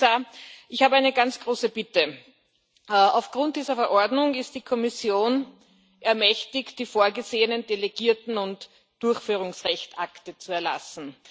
Und, Herr Kommissar, ich habe eine ganz große Bitte Aufgrund dieser Verordnung ist die Kommission ermächtigt, die vorgesehenen delegierten und Durchführungsrechtsakte zu erlassen.